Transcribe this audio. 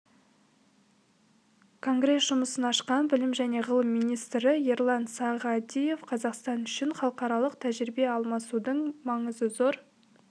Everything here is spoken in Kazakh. конгресс жұмысын ашқан білім және ғылым министрі ерлан сағадиев қазақстан үшін халықаралық тәжірибе алмасудың маңызы зор